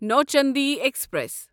Nauchandi express